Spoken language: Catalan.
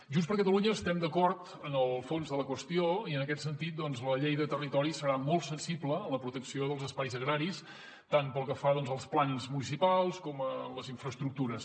junts per catalunya estem d’acord en el fons de la qüestió i en aquest sentit doncs la llei de territori serà molt sensible amb la protecció dels espais agraris tant pel que fa als plans municipals com a les infraestructures